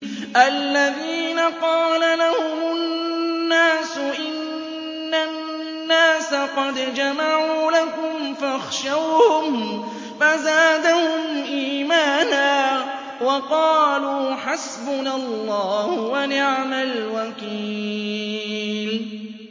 الَّذِينَ قَالَ لَهُمُ النَّاسُ إِنَّ النَّاسَ قَدْ جَمَعُوا لَكُمْ فَاخْشَوْهُمْ فَزَادَهُمْ إِيمَانًا وَقَالُوا حَسْبُنَا اللَّهُ وَنِعْمَ الْوَكِيلُ